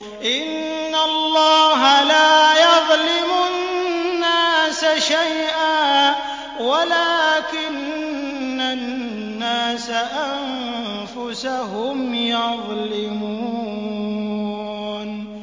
إِنَّ اللَّهَ لَا يَظْلِمُ النَّاسَ شَيْئًا وَلَٰكِنَّ النَّاسَ أَنفُسَهُمْ يَظْلِمُونَ